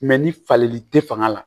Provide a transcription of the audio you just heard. ni fali te fanga la